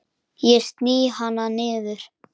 Ég sný hana niður.